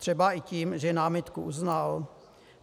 Třeba i tím, že námitku uznal?